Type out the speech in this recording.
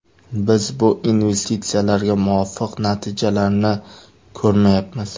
Biz bu investitsiyalarga muvofiq natijalarni ko‘rmayapmiz.